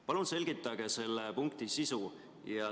" Palun selgitage selle punkti sisu!